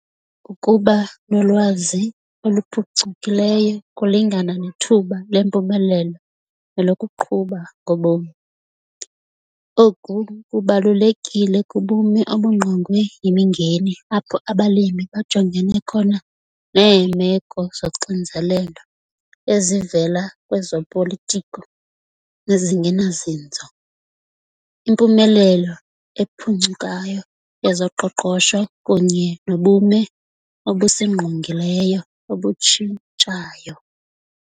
Ukuba nolwazi oluphucukileyo kulingana nethuba lempumelelo nelokuqhuba ngobomi. Oku kubalulekile kubume obungqongwe yimingeni apho abalimi bajongene khona neemeko zoxinzelelo ezivela kwezopolitiko ezingenazinzo, impumelelo ephuncukayo yezoqoqosho kunye nobume obusingqongileyo obutshintshayo.